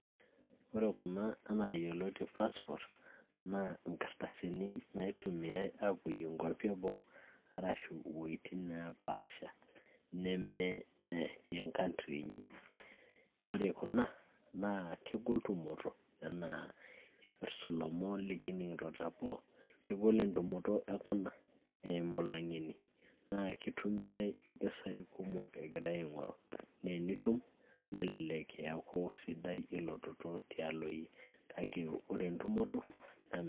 ore kuna anaa yioloti passport naa nkardasini naitumiay aapoyie inkuapi eboo arashu iwuejitin neepasha neme enkantri inyi, ore kuna naa kegol tumoto enaa ipirrt ilomon likining'ito teboo, kegol entumoto e kuna eimu ilang'eni naa kitumiay impisai kumok egiray aing'oru nee enitum nelelek eyaku sidai elototo tialo yie kake ore entumoto naa.